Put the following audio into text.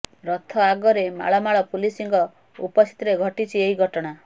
ରଥ ଆଗରେ ମାଳମାଳ ପୁଲିସଙ୍କ ଉପସ୍ଥିତିରେ ଘଟିଛି ଏହି ଘଟଣା